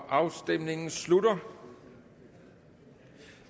afstemningen slutter